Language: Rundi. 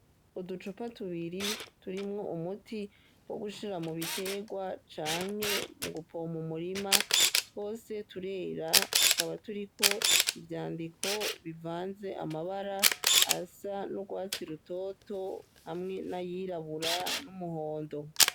Uducupa tubiri turimwo umuti wo gushira mu biterwa canke mu gupompa umurima twose turera tukaba turiko ivyandiko bivanze amabara asa n'urwatsi rutoto hamwe n'ayirabura n'umuhondo.